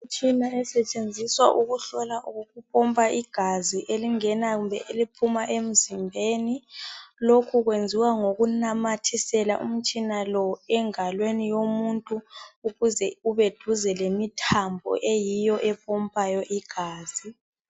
Imtshina esetshenziswa ukuhlola kumbe ukupompa igazi elingena kumbe eliphuma emzimbeni. Lokhu kwenziwa ngokunamathisela umtshina lo engalweni yomuntu ukuze ume duze lemithambo eyiyo empompayo igazi.